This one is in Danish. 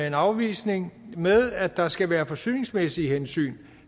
en afvisning med at der skal være forsyningsmæssige hensyn